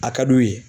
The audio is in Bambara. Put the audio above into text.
A ka d'u ye